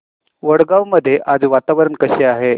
वडगाव मध्ये आज वातावरण कसे आहे